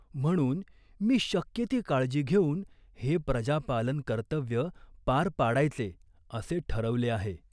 म्हणून मी शक्य ती काळजी घेऊन हे प्रजापालनकर्तव्य पार पाडायचे असे ठरवले आहे.